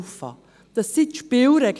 Dies sind die Spielregeln.